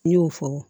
N y'o fɔ